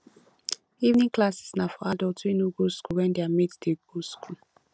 evening classes na for adults wey no go school when their mates de go school